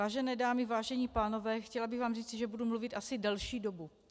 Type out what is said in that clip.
Vážené dámy, vážení pánové, chtěla bych vám říci, že budu mluvit asi delší dobu.